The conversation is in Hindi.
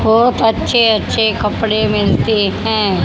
बहोत अच्छे अच्छे कपड़े मिलते हैं।